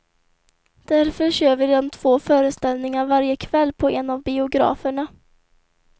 Därför kör vi den två föreställningar varje kväll på en av biograferna.